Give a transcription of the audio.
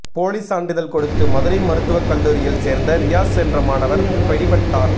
போலி சான்றிதழ் கொடுத்து மதுரை மருத்துவக் கல்லூரியில் சேர்ந்த ரியாஸ் என்ற மாணவர் பிடிபட்டார்